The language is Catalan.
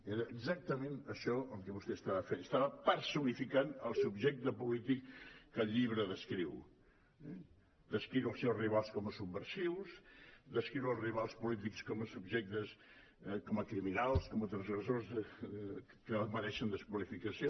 era exactament això el que vostè estava fent estava personificant el subjecte polític que el llibre descriu descriure els seus rivals com a subversius descriure els rivals po·lítics com a criminals com a transgressors que mereixen desqualificació